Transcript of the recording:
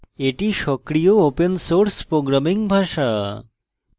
এটি সক্রিয় open source programming ভাষা